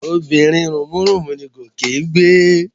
Obìnrin rùnmúrùnmú ni Gòkè ń gbé?